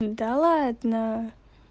да ладно